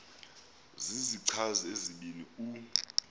zizichazi ezibini u